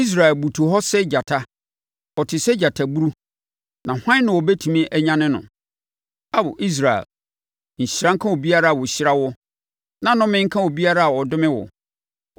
Israel butu hɔ sɛ gyata; ɔte sɛ gyataburu, na hwan na ɔbɛtumi anyane no? “Ao Israel, nhyira nka obiara a ɔhyira wo, na nnome nka obiara a ɔdome wo.”